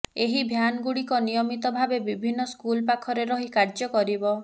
ଏହି ଭ୍ୟାନଗୁଡିକ ନିୟମିତ ଭାବେ ବିଭିନ୍ନ ସ୍କୁଲ ପାଖରେ ରହି କାର୍ଯ୍ୟ କରିବ